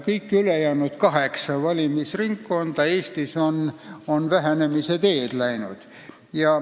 Kõik ülejäänud kaheksa valimisringkonda Eestis on vähenemise teed läinud.